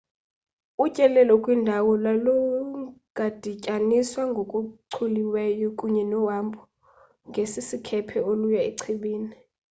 utyelelo kwindawo lungadityaniswa ngokuchuliweyo kunye nohambo ngesikhephe oluya echibini